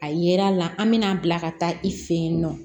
A yera la an bɛna a bila ka taa i fɛ yen nɔ